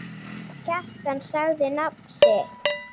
Kjartan sagði nafn sitt.